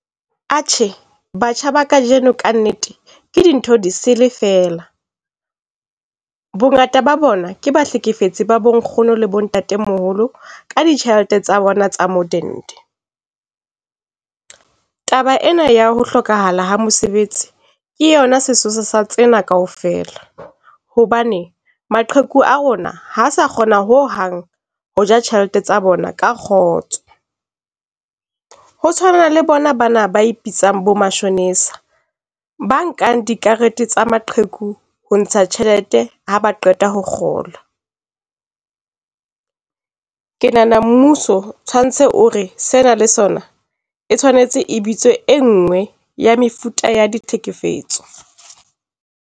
Atjhe, batjha ba kajeno ka nnete ke dintho disele fela. Bongata ba bona ke bahlekefetsi ba bonkgono le bontatemoholo ka ditjhelete tsa bona tsa modende. Taba ena ya ho hlokahala ha mosebetsi ke yona sesosa sa tsena kaofela, hobane maqheku a rona ha sa kgona ho hang ho ja tjhelete tsa bona ka kgotso. Ho tshwana le bona bana ba ipitsang bo matjhonisa, ba nkang dikarete tsa maqheku ho ntsha tjhelete ha ba qeta ho kgola. Ke nahana mmuso tshwantse o re sena le sona, e tshwanetse e bitswe e nngwe ya mefuta ya ditlhekefetso.